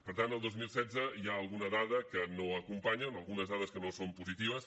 per tant el dos mil setze hi ha alguna dada que no acompanyen algunes dades que no són positives